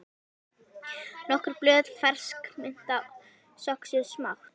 Nokkur blöð fersk mynta söxuð smátt